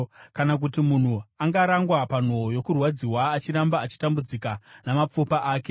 Kana kuti munhu angarangwa panhoo yokurwadziwa, achiramba achitambudzika mumapfupa ake,